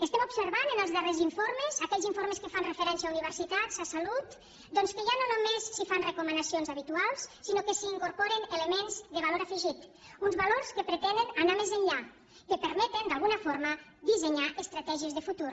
estem observant en els darrers informes aquells informes que fan referència a universitats a salut doncs que ja no només s’hi fan recomanacions habituals sinó que s’hi incorporen elements de valor afegit uns valors que pretenen anar més enllà que permeten d’alguna forma dissenyar estratègies de futur